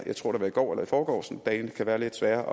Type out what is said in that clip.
jeg tror det var i går eller i forgårs dagene kan være lidt svære